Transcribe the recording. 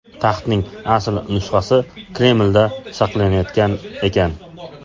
Taxtning asl nusxasi Kremlda saqlanayotgan ekan.